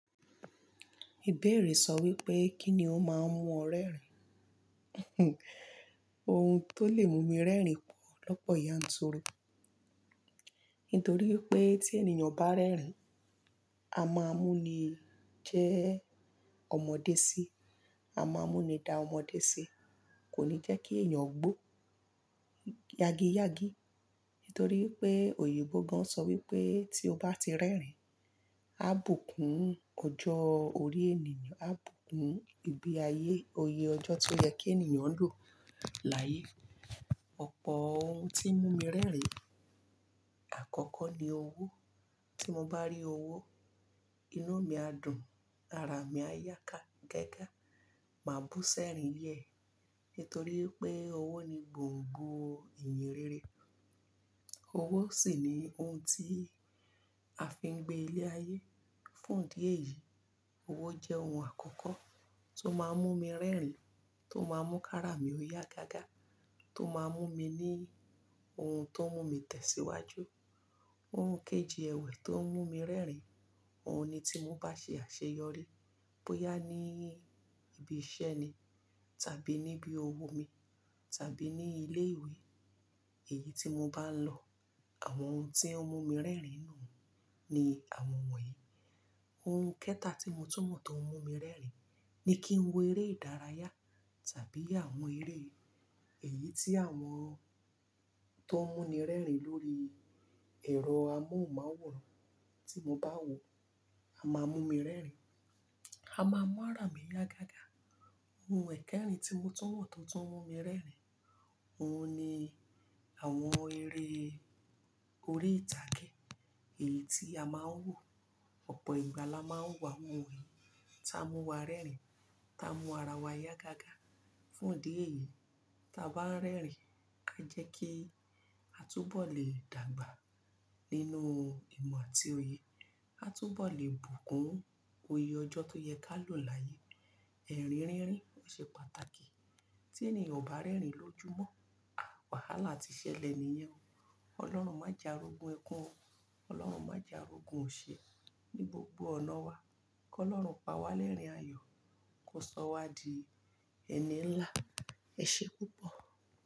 Ìbéèrè sọ wípé kí ni ó máa ń mú ọ rẹ́rìn? Ohun tó lè mú mi rẹ́rìn pọ̀ lọ́pọ̀ yanturu. Nítorí pé tí ènìyàn bá rẹ́rìn, a máa mú ni jẹ́ ọmọdé sí, a máa mú ni da ọmọdé sí. Kò ní jẹ́ kí èèyàn gbó yagi yagi. Nítorí pé òyìnbó gan sọ wípé tí ó bá ti rẹ́rìn, á bùkún ọjọ́ orí ènìyàn, á bùkún ìgbé ayé, oyè ọjọ́ tó yẹ kí ènìyàn lò láyé. Ọ̀pọ̀ ohun tí ń mú mi rẹ́rìn. Àkọ́kọ́ ni owó. Tí mo bá rí owó, inu mi á dùn, ara mi á yá ká gágá, màá bú sẹ́rìn yẹ. Nítorí pé owó ni gbòǹgbò ìyì rere. Owó sì ni ohun tí a fi ń gbé ilé ayé. Fún òdí èyí, owó jẹ́ ohun àkọ́kọ́ tó máa ń mú mi rẹ́rìn, tó máa ń mú kí ara mi yá gágá, tó máa ń mú mi ní ohun tó ń mú mi tẹ̀síwájú. Ohun kejì ẹ̀wẹ̀ tó ń mú mi rẹ́rìn, òhun ni tí mo bá ṣe àṣeyọrí bóyá ní ibi iṣẹ́ ni tàbí níbí òwò mi tàbí ní ilé ìwé, èyí tí mo bá ń lọ, àwọn ohun tí ń mú mi rẹ́rìn nù ni àwọn wọ̀nyí. Ohun kẹ́ta tí mo túmọ̀ tó ń mú mi rẹ́rìn ni kí n wo eré ìdárayá tàbí àwọn eré èyí tí àwọn tó ń mú ni rẹ́rìn lórí ẹ̀rọ amóhùnmáwòrán. Tí mo bá wo, a máa mú mi rẹ́rìn, a máa mú ara mi yá gágá. Ohun ẹ̀kẹrin tí mo túmọ̀ tó ń mú mi rẹ́rìn, òhun ni àwọn eré orí ìtàgé èyí tí a máa ń wò. Ọ̀pọ̀ ìgbà la máa ń wo awon iwo ta mú wa rẹ́rìn, ta mú ara wa yá gágá. Fún òdí èyí, tí a bá ń rẹ́rìn, a jẹ́ kí a túbọ̀ lè dàgbà nínú ìmọ̀ àti òye. A túbọ̀ lè bùkún oyè ọjọ́ tó yẹ ká lò láyé. Ẹ̀rín rín rín, ó ṣe pàtàkì. Tí ènìyàn ò bá rẹ́rìn lójúmọ́, à wàhálà ti ṣẹlẹ̀ nìyẹn. Ọlọ́run má je arogun ẹkún o. Ọlọ́run má jà arogun ò ṣe ní gbogbo ọ̀nà wa. Kí Ọlọ́run pa wá lẹ́rìn ayọ̀, kó sọ wá di ẹni ń là. Ẹ ṣe púpọ̀.